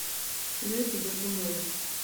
лехе дергунове